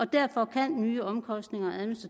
derfor kan nye omkostninger og